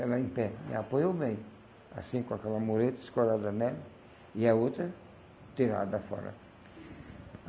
ela em pé, e apoiou bem, assim com aquela mureta escorada nela, e a outra tirada fora.